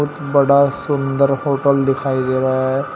बड़ा सुंदर होटल दिखाई दे रहा है।